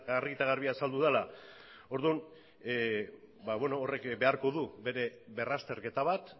argi eta garbi azaldu dela orduan horrek beharko du bere berrazterketa bat